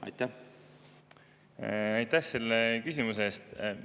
Aitäh selle küsimuse eest!